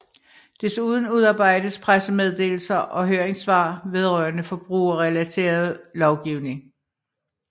Desuden udarbejdes pressemeddelelser og høringssvar vedrørende forbrugerrelateret lovgivning